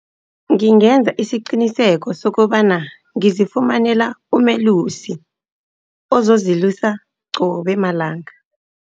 Ngingenza isiqiniseko sokobana ngizifumanela umelusi, ozozilusa qobe malanga.